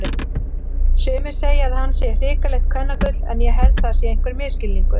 Sumir segja að hann sé hrikalegt kvennagull en ég held það sé einhver misskilningur.